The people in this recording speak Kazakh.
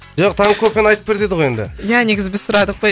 жоқ таңғы кофені айтып бер деді ғой енді ия негізі біз сұрадық қой